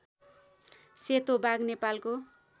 सेतो बाघ नेपालको